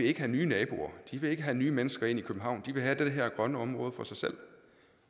ikke have nye naboer de vil ikke have nye mennesker ind i københavn de vil have det her grønne område for sig selv